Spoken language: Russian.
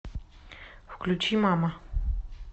включи мама